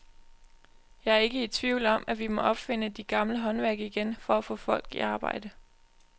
Jeg er ikke i tvivl om, at vi må opfinde de gamle håndværk igen for at få folk i arbejde.